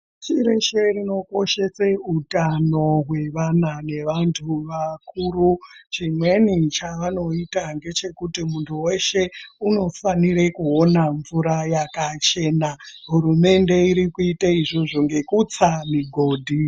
Pashi reshe rinokoshese utano hwevana nevantu vakuru. Chimweni chavanoita ngechekuti muntu weshe unofanire kuona mvura yakachena. Hurumende irikuite izvozvo ngekutsa migodhi.